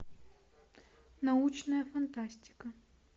научная фантастика